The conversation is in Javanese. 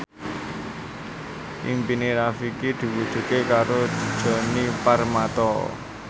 impine Rifqi diwujudke karo Djoni Permato